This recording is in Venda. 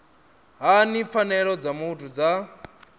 hani pfanelo dza muthu dza